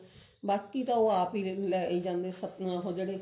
ਬਾਕੀ ਤਾਂ ਉਹ ਆਪ ਹੀ ਲਈ ਜਾਂਦੇ ਅਹ ਉਹ ਜਿਹੜੇ